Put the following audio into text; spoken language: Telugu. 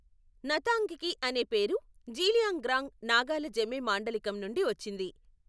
నతాంగ్కి అనే పేరు జీలియాంగ్రాంగ్ నాగాల జెమే మాండలికం నుండి వచ్చింది.